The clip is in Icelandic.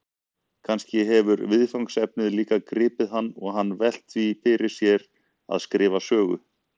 Kannski hefur viðfangsefnið líka gripið hann og hann velt því fyrir sér að skrifa sögu?